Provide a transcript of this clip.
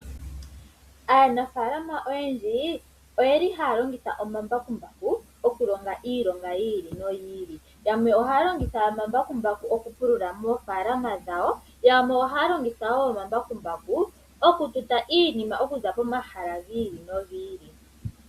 Aanafaalama oyendji ohaya longitha omambakumbaku okulonga iilonga yi ili noyi ili. Yamwe ohaya longitha omambakumbaku okupulula moofaalama dhawo. Yamwe ohaya longitha omambakumbaku okututa iinima okuza pomahala gi ili nogi ili.